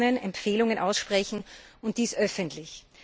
er kann warnen, Empfehlungen aussprechen und dies öffentlich.